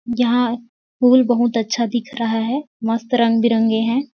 यहाँ पूल बहुत अच्छा दिख रहा है मस्त रंग-बिरंगे है।